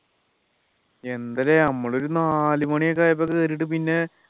എന്താത് നമ്മളൊരു നാലുമണി ഒക്കെ ആയപ്പോ കേറീട്ട് പിന്നെ